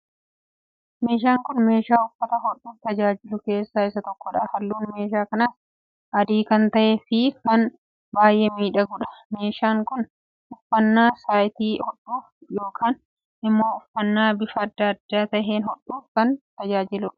Meeshaan kun meeshaa uffata hodhuuf tajaajilu keessaa isa tokkodha. Halluun meeshaa kanaas adii kan tahee fi kan baayee miidhagudha. Meeshaaan kun uffannaa cite hodhuuf yookiin immoo uffannaa bifa adda taheen hodhuuf kan tajaajiludha.